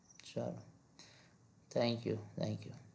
સારું thank you thank you